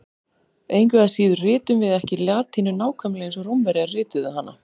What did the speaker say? Engu að síður ritum við ekki latínu nákvæmlega eins og Rómverjar rituðu hana.